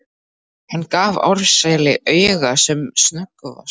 Hann gaf Ársæli auga sem snöggvast.